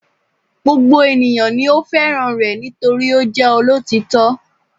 Gbogbo ènìyàn ni ó fẹ́ràn rẹ̀ nítorí ó jẹ́ olótítọ́